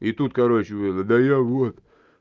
и тут короче да я вот